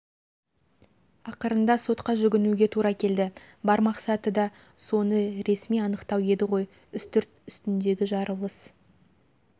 ақырында сотқа жүгінуге тура келді бар мақсаты да соны реси анықтау еді ғой үстірт үстіндегі жарылыс